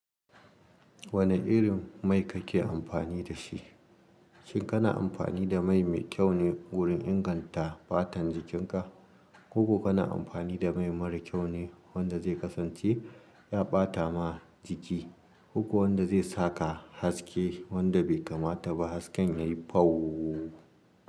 Wanne irin mai kake amfani da shi? Shin kana amfani da mai mai kyau ne wurin inganta fatan jikinka? Ko kuma kana amfani da mai mara kyau ne wanda zai kasance ya ɓata ma jiki, ko kuma wanda zai sa ka haske wanda bai kamata ba, hasken yayi fau.